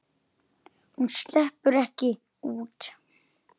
Hún sleppur ekki út.